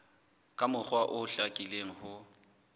ka mokgwa o hlakileng ho